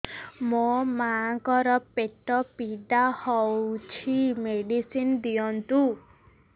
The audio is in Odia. ମୋ ମାଆଙ୍କର ପେଟ ପୀଡା ହଉଛି ମେଡିସିନ ଦିଅନ୍ତୁ